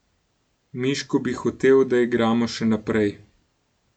Miško bi hotel, da igramo še naprej.